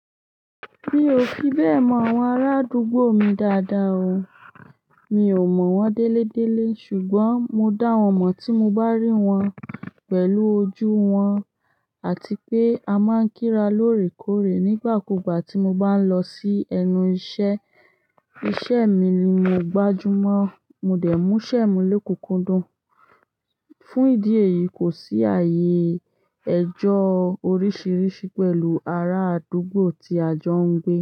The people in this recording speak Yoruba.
Mi ò fi bẹ́ẹ̀ mọ àwọn arádúgbò mi dáadáa o. Mi ò mọ̀ wọ́n délédéle, ṣùgbọ́n mo dá wọn mọ̀ tí mo bá rí wọn pẹ̀lú ojú wọn àti pé a máa ń kíra lóòrèkóòrè nígbàkúgbà tí mo bá ń lọ sí ẹnu iṣẹ́. Iṣẹ́ mi ni mo gbájú mọ́, mo dẹ̀ mú ṣẹ́mi lokunkun dún. Fún ìdí èyí, kò sí ààyè ẹjọ́ oríṣìíríṣìí pẹ̀lú ará àdúgbò tí a jọ ń gbé.